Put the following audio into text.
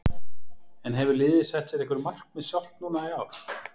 En hefur liðið sett sér einhver markmið sjálft núna í ár?